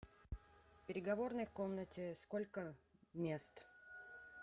в переговорной комнате сколько мест